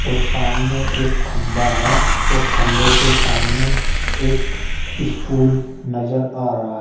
और सामने एक खंभा है और खंबे के सामने एक स्कूल नजर आ रहा--